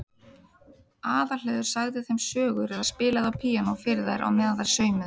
Aðalheiður sagði þeim sögur eða spilaði á píanó fyrir þær á meðan þær saumuðu.